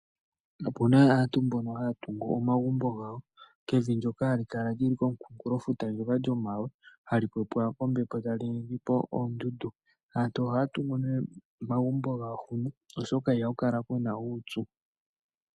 Opuna aantu mbono haa tungu omagumbo gawo kevi ndoka hali kala lyili komukungulo futa ndoka lyomawe hali pepwa kombepo tali ningi po oondudu. Aantu ohaya tungu nee omagumbo gawo oshoka iha kukala kuna uupyu.